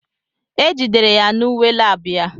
E jidere ya na uwe lab ya.